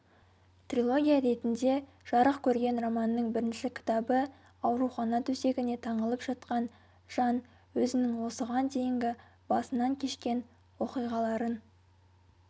трилогия ретінде жарық көрген романның бірінші кітабы аурухана төсегіне таңылып жатқан жан өзінің осыған дейінгі басынан кешкен оқиғаларын